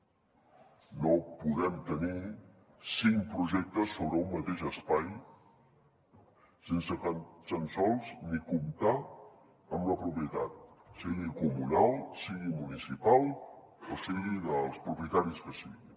no podem tenir cinc projectes sobre un mateix espai sense tan sols ni comptar amb la propietat sigui comunal sigui municipal o sigui dels propietaris que siguin